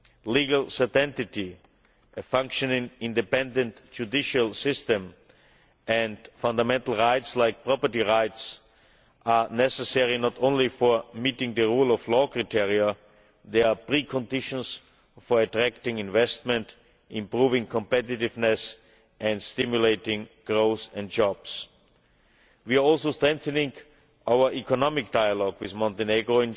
Legal identity, a functioning independent judicial system and fundamental rights like property rights are necessary and not only for meeting the rule of law criteria, they are pre conditions for attracting investment, improving competitiveness and stimulating growth and jobs. We are also strengthening our economic dialogue with Montenegro.